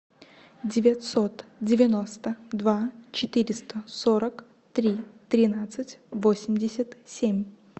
девятьсот девяносто два четыреста сорок три тринадцать восемьдесят семь